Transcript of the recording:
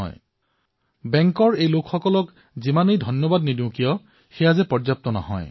সেই বেংকৰ লোকসকলকো আমি যিমানেই ধন্যবাদ কৰিম সিমানেই কম হব